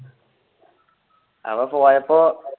അപ്പൊ പോയപ്പോൾ